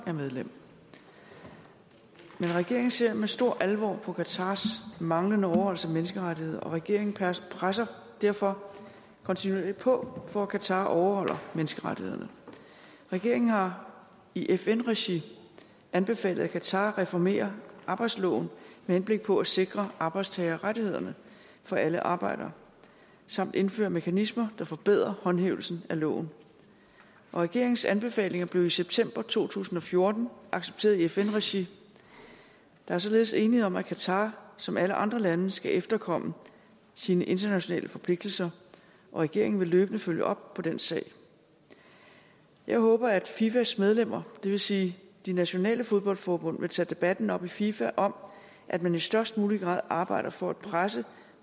er medlem men regeringen ser med stor alvor på qatars manglende overholdelse af menneskerettighederne og regeringen presser derfor kontinuerligt på for at qatar overholder menneskerettighederne regeringen har i fn regi anbefalet at qatar reformerer arbejdsloven med henblik på at sikre arbejdstagerrettighederne for alle arbejdere samt indfører mekanismer der forbedrer håndhævelsen af loven og regeringens anbefalinger blev i september to tusind og fjorten accepteret i fn regi der er således enighed om at qatar som alle andre lande skal efterkomme sine internationale forpligtelser og regeringen vil løbende følge op på den sag jeg håber at fifas medlemmer det vil sige de nationale fodboldforbund vil tage debatten op i fifa om at man i størst mulig grad arbejder for at presse